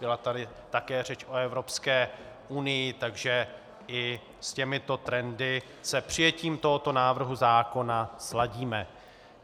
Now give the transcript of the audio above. Byla tady také řeč o Evropské unii, takže i s těmito trendy se přijetím tohoto návrhu zákona sladíme.